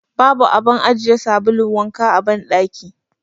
Babu abun ajiye sabulun wanka a cikin banɗakin.